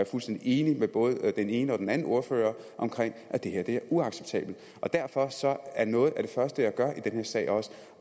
fuldstændig enig med både den ene og den anden ordfører om at det her er uacceptabelt derfor er noget af det første jeg gør i den her sag